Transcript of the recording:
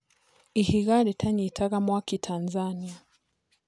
Ihiga rĩtanyitaga mwaki Tanzania.